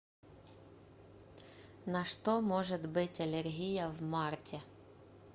на что может быть аллергия в марте